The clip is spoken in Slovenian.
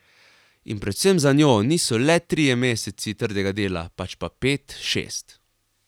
In predvsem za njo niso le trije meseci trdega dela, pač pa pet, šest.